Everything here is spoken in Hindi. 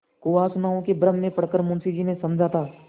कुवासनाओं के भ्रम में पड़ कर मुंशी जी ने समझा था